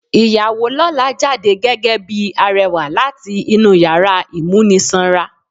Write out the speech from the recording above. Ìyàwó lọ́la jáde gẹ́gẹ́ bíi arẹwà láti inú yàrá ìmúnisanra.